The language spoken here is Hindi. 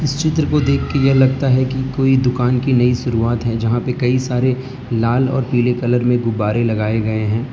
चित्र को देखके यह लगता है कि कोई दुकान की नई शुरुआत है जहां पे कई सारे लाल और पीले कलर में गुब्बारे लगाए गए हैं।